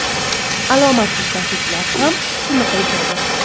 Alomatsiz tashuvchilar ham shuni qilishadi.